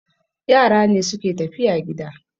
Yara ne suke tafiya gida